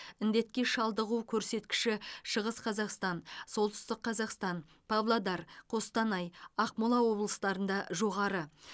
індетке шалдығу көрсеткіші шығыс қазақстан солтүстік қазақстан павлодар қостанай ақмола облыстарында жоғары